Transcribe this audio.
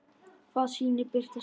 Hvaða sýnir birtast mér?